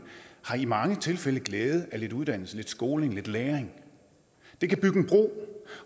har i mange tilfælde glæde af lidt uddannelse lidt skoling lidt læring det kan bygge en bro